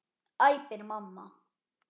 æpir mamma.